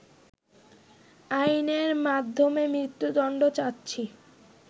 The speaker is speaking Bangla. আইনের মাধ্যমে মৃত্যুদণ্ড চাচ্ছি